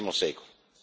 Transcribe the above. XX secolo.